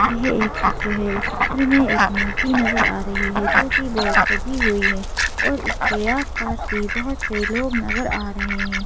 यह एक चित्र है इस चित्र में एक मूर्ति नजर आ रही है जोकि बहुत सजी हुई है और इसके आसपास भी बहुत से लोग नजर आ रहे हैं।